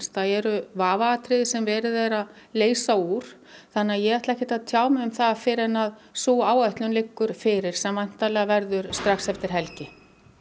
það eru vafaatriði sem verið er að leysa úr þannig ég ætla ekkert að tjá mig um það fyrr en sú áætlun liggur fyrir sem væntanlega verður strax eftir helgi